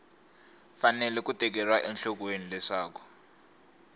fanele ku tekeriwa enhlokweni leswaku